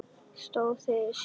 Stóð það undir sér?